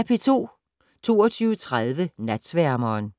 22:30: Natsværmeren